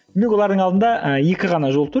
олардың алдарында ы екі ғана жол тұр